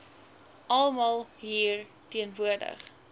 almal hier teenwoordig